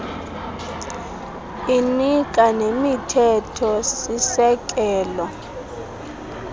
inika nemithetho sisekelo